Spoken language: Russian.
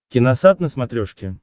киносат на смотрешке